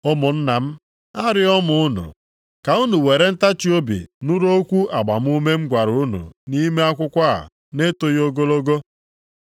Ụmụnna m, arịọọ m unu, ka unu were ntachiobi nụrụ okwu agbamume m gwara unu nʼime akwụkwọ a na-etoghị ogologo.